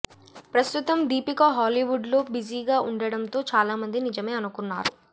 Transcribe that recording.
ప్రస్తుతం దీపిక హాలీవుడ్ లో బిజీగా ఉండడంతో చాలామంది నిజమే అనుకున్నారు